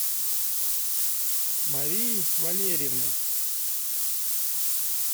марией валерьевной